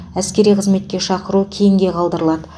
әскери қызметке шақыру кейінге қалдырылады